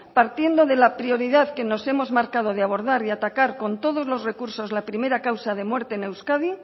partiendo de la prioridad que nos hemos marcado de abordar y atacar con todos los recursos la primera causa de muerte en euskadi